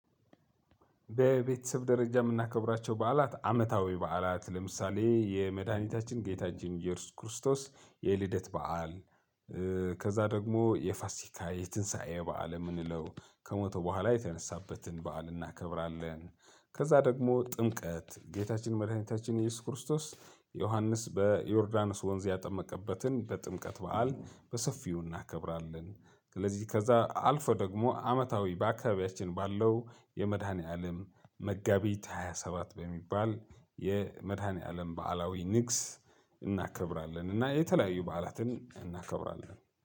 በቤተሰብ ደረጃ የምናከብራቸው በዓላት አመታዊ በዓላት ለምሳሌ የመድኃኒታችን ጌታችን እየሱስ ክርስቶስ የልደት በዓል። ከዛ ደግሞ የፋሲካ የትንሳኤ በዓል እምንለው ከሞተ በኋላ የተነሳበትን በዓል እናከብራለን። ከዛ ደግሞ ጥምቀት ጌታችን መድኃኒታችን እየሱስ ክርስቶስ ዮሐንስ በዮርዳኖስ ወንዝ ያጠመቀበትን በጥምቀት በዓል በሰፊው እናከብራለን። ስለዚህ ከዛ አልፎ ደግሞ አመታዊ በአካባቢያችን ባለው የመድኃኒዓለም መጋቢት ሃያሰባት በሚባል የመድኃኒዓለም በዓላዊ ንግስ እናከብራለን። እና የተለያዩ በዓላትን እናከብራለን